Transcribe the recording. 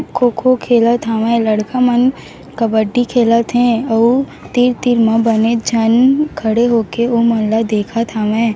खो-खो खेलत हावय लड़का मन कबड्डी खेलत हे अउ तीर-तीर में बने झन खड़े होके ओमनला देखत हावय।